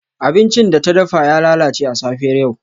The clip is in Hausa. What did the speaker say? Abincin da ta dafa ya lalace a safiyar yau.